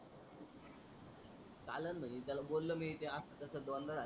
चालण म्हणे त्याला बोलो मी ते अस कस दोन दा झाल